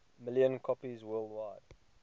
million copies worldwide